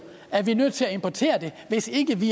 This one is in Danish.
at vi bliver nødt til importere det hvis ikke vi